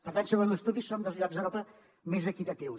per tant segons l’estudi som dels llocs d’europa més equitatius